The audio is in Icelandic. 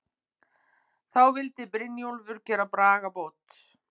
Þá vildi Brynjólfur gera bragabót.